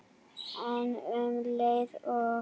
En um leið og